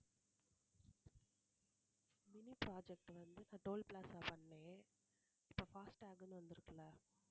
mini project வந்து நான் toll plaza பண்ணேன் இப்ப fast tag ன்னு வந்திருக்கில்ல